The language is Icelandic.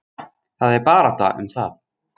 Það er barátta um það.